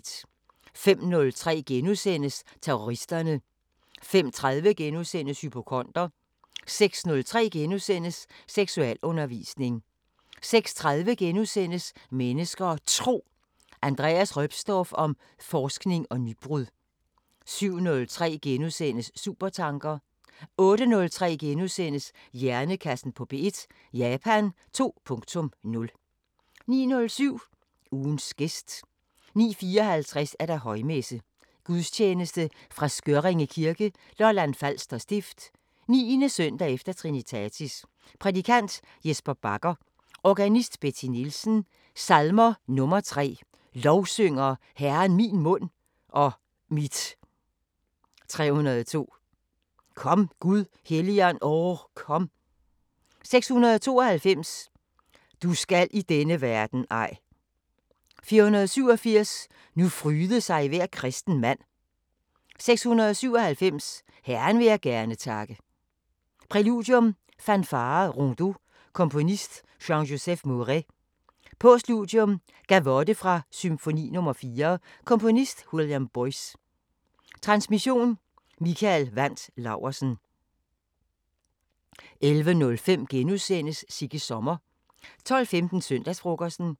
05:03: Terroristerne * 05:30: Hypokonder * 06:03: Seksualundervisning * 06:30: Mennesker og Tro: Andreas Roepstorff om forskning og nybrud * 07:03: Supertanker * 08:03: Hjernekassen på P1: Japan 2.0 * 09:07: Ugens gæst 09:54: Højmesse - Gudstjeneste fra Skørringe kirke, Lolland-Falster stift. 9. efter Trinitatis. Prædikant: Jesper Bacher. Organist: Betty Nielsen. Salmer: 3: "Lovsynger Herren min mund og mit" 302: "Kom Gud Helligånd! o kom" 692: "Du skal i denne verden ej" 487: "Nu fryde sig hver kristenmand" 697: "Herren jeg vil gerne takke" Præludium: Fanfare Rondeau. Komponist: Jean-Joseph Mouret. Postludium: Gavot fra Symphony no. 4. Komponist: Willam Boyce. Transmission: Mikael Wandt Laursen. 11:05: Sigges sommer * 12:15: Søndagsfrokosten